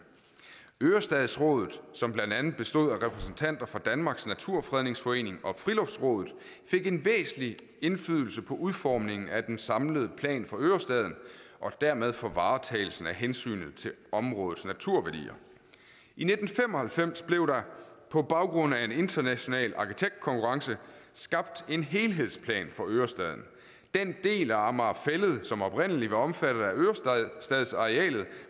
ørestadsrådet som blandt andet bestod af repræsentanter for danmarks naturfredningsforening og friluftsrådet fik en væsentlig indflydelse på udformningen af den samlede plan for ørestaden og dermed for varetagelsen af hensynet til områdets naturværdier i nitten fem og halvfems blev der på baggrund af en international arkitektkonkurrence skabt en helhedsplan for ørestaden den del af amager fælled som oprindelig var omfattet af ørestadsarealet